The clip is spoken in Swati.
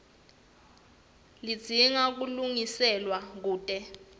ledzinga kulungiswa kute